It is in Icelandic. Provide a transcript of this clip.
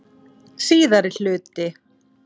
Síðari hluti